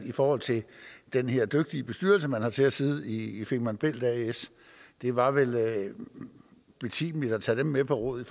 i forhold til den her dygtige bestyrelse man har til at sidde i femern bælt as det var vel betimeligt at tage dem med på råd i